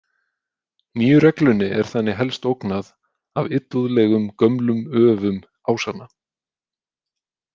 Nýju reglunni er þannig helst ógnað af illúðlegum gömlum öfum Ásanna.